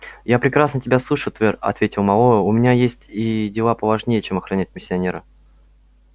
я прекрасно тебя слышу твер ответил мэллоу у меня есть и дела поважнее чем охранять миссионера